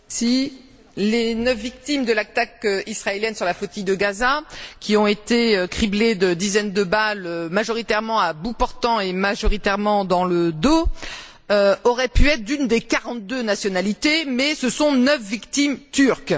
Monsieur le Président, les neuf victimes de l'attaque israélienne sur la flottille de Gaza, qui ont été criblées de dizaines de balles, majoritairement à bout portant et majoritairement dans le dos, auraient pu être d'une des quarante deux nationalités, mais ce sont neuf victimes turques.